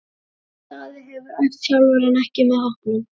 Jón Daði hefur æft sjálfur en ekki með hópnum.